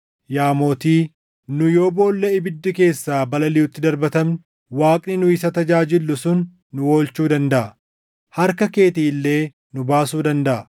Yaa Mootii, nu yoo boolla ibiddi keessaa balaliʼutti darbatamne, Waaqni nu isa tajaajillu sun nu oolchuu dandaʼa; harka keetii illee nu baasuu dandaʼa.